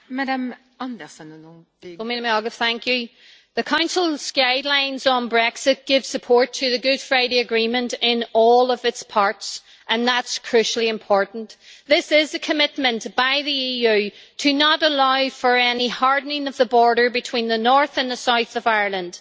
Madam President, the Council's guidelines on Brexit give support to the Good Friday Agreement in all of its parts, and that is crucially important. This is a commitment by the EU to not allow for any hardening of the border between the north and the south of Ireland.